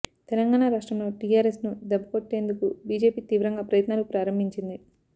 తెలంగాణ రాష్ట్రంలో టీఆర్ఎస్ ను దెబ్బకొట్టేందుకు బీజేపీ తీవ్రంగా ప్రయత్నాలను ప్రారంభించింది